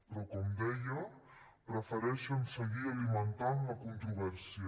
però com deia prefereixen seguir alimentant la controvèrsia